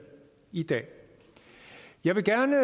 i dag jeg vil gerne